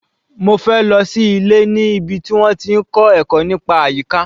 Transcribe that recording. Mofe lọ sí ilé níbi tí wọ́n ti ń kọ́ ẹ̀kọ́ nípa àyíká.